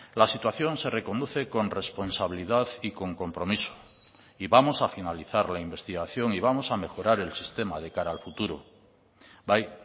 la situación se reconduce con responsabilidad y con compromiso y vamos a finalizar la investigación y vamos a mejorar el sistema de cara al futuro bai